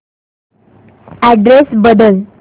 address बदल